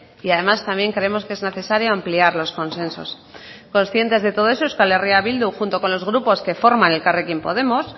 y además también creemos que es necesario ampliar los consensos conscientes de todo eso euskal herria bildu junto con los grupos que forma elkarrekin podemos